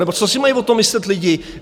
Nebo co si mají o tom myslet lidi?